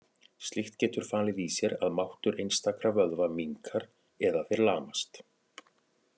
Slíkt getur falið í sér að máttur einstakra vöðva minnkar eða þeir lamast.